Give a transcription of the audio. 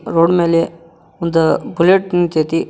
Road ಮೇಲೆ ಒಂದು bullet ನಿಂತೈತಿ.